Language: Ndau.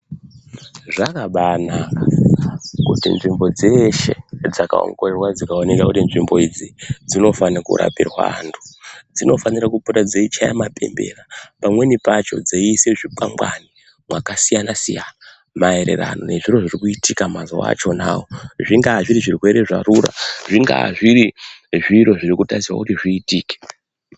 Zvakabaanaka kuti nzvimbo dzeshe dzakaongororwa dzikaoneka kuti nzvimbo idzi dzinofana kurapirwa antu, dzinofanira kupota dzeichaya mapembera, pamweni pacho dzeiisa zvikwangwari kwakasiyana-siyana maererano nezviro zviri kuitika mazuwa achonawo, zvingaa zviri zvirwere zvarura, zvingaa zviri zviro zviri kutarisirwa kuti zviitike.